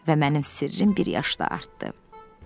Və mənim sirrim bir yaşda artdı.